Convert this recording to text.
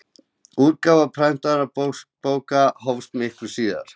útgáfa prentaðra bóka hófst miklu síðar